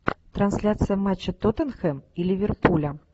трансляция матча тоттенхэм и ливерпуля